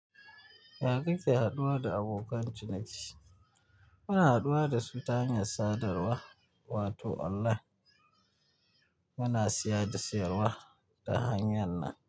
Yakake haɗuwa da abokan ciniki, muna haduwa da ta hanyar sadarwa, wato online muna siyar da sayarwa da hanyar nan.